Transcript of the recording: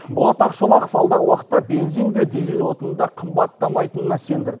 болат ақшолақов алдағы уақытта бензин де дизель отыны да қымбаттамайтынына сендірді